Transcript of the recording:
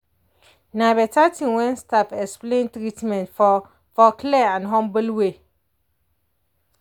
na better thing when staff explain treatment for for clear and humble way.